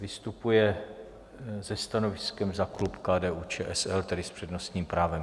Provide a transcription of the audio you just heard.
Vystupuje se stanoviskem za klub KDU-ČSL, tedy s přednostním právem.